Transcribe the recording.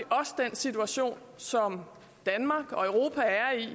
situation som danmark og europa er i